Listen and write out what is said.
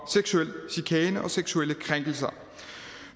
seksuelle krænkelser